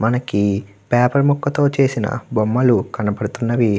మనకి పపెర్ ముకతో చేసిన బొమ్మలు కనపడుతున్నవి.